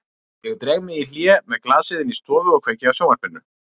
Ég dreg mig í hlé með glasið inn í stofu og kveiki á sjónvarpinu.